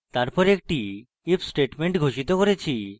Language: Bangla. তারপর একটি if statement ঘোষিত করেছি